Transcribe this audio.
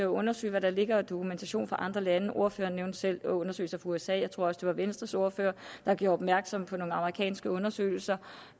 undersøge hvad der ligger af dokumentation fra andre lande ordføreren nævnte selv undersøgelser fra usa jeg tror også det var venstres ordfører der gjorde opmærksom på nogle amerikanske undersøgelser